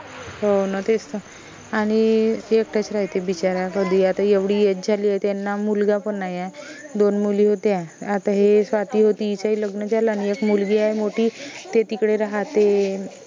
हो न तेच त आनि एकट्याच रायते बिचाऱ्या कधी आता एवढी age झाली त्यांना मुलगा पन नाई आय दोन मुली होत्या आता हे स्वाती होती इचइ लग्न झालं आणि एक मुलगी आहे मोठी ते तिकडे राहाते